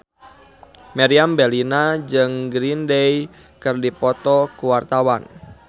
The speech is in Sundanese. Meriam Bellina jeung Green Day keur dipoto ku wartawan